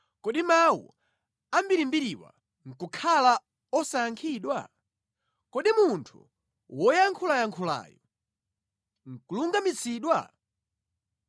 “Kodi mawu ambirimbiriwa nʼkukhala osayankhidwa? Kodi munthu woyankhulayankhulayu nʼkulungamitsidwa?